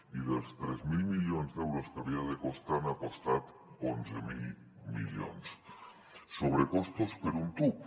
i dels tres mil milions d’euros que havia de costar n’ha costat onze mil milions sobrecostos per un tub